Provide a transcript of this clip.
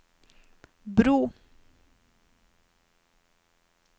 bro